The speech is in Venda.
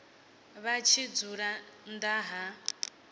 vha tshi dzula nnḓa ha